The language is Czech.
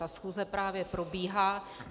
Ta schůze právě probíhá.